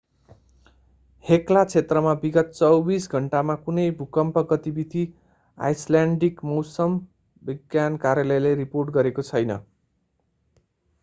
Hekla क्षेत्रमा विगत 48 घण्टामा कुनै भूकम्प गतिविधि आईसल्यान्डिक मौसम विज्ञान कार्यालयले रिपोर्ट गरेको छैन